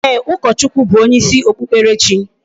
Eeh, ukochukwuw bu onye isi okpukperechi